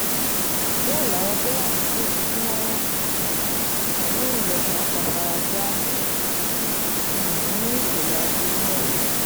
bẹ́ẹ̀ làwọn tó wà nítòsí tí wọ́n um ń rìn lọ pàápàá fara gbá um nínú ìṣẹ̀lẹ̀ aburú náà